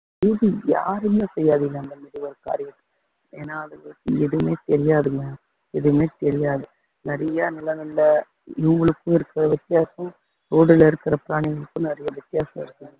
யாருமே செய்யாதீங்க அந்தமாதிரி ஒரு காரியம் ஏன்னா அதுங்களுக்கு எதுவுமே தெரியாதுங்க எதுவுமே தெரியாது நிறைய நல்ல நல்ல இவங்களுக்கு இருக்கிற வித்தியாசம் road ல இருக்கிற பிராணிங்களுக்கும் நிறைய வித்தியாசம் இருக்கு